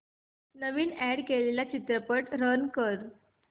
नवीन add केलेला चित्रपट run कर